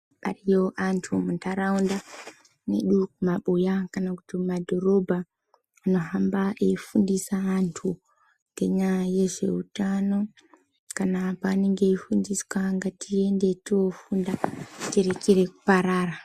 Ariyo antu muntaraunda medu, mumabuya kana kuti mumadhorobha anohamba eifundisa antu ngenyaya yezveutano. Kana paanenge eifundiswa ngatiende toofunda, tirekere kuparara.